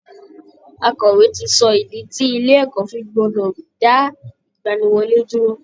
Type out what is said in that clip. Akọ̀wé ti sọ ìdí tí ilé ẹ̀kọ́ fi gbọ́dọ̀ dá ìgbaniwọlé dúró